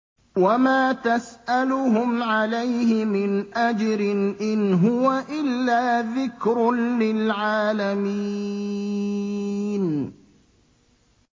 وَمَا تَسْأَلُهُمْ عَلَيْهِ مِنْ أَجْرٍ ۚ إِنْ هُوَ إِلَّا ذِكْرٌ لِّلْعَالَمِينَ